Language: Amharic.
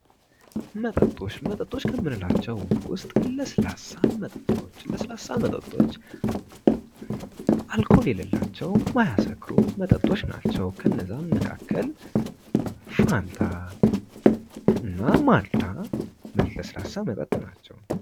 መጠጦች መጠጦች ከምንላቸው ውስጥ ለስላሳ መጠጦች ለስላሳ መጠጦች አልኮል የለላቸው የማያሰክሩ መጠጦች ናቸው። ከነዛም መካከል ፋታና ማልታ ለስላሳ መጠጥ ናቸው።